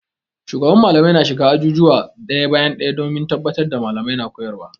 Shugaban Mallamai na shiga azuzuwa ɗaya bayan ɗaya domin tabbatar da Mallamai na koyarwa.